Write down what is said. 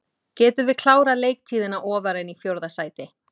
Getum við klárað leiktíðina ofar en í fjórða sæti?